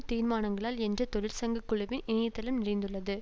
தீர்மானங்களால் என்ற தொழிற்சங்க குழுவின் இணைய தளம் நிறைந்துள்ளது